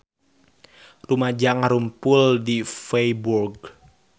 Rumaja ngarumpul di Feiburg